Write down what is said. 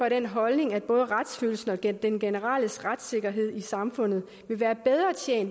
af den holdning at både retsfølelsen og den den generelle retssikkerhed i samfundet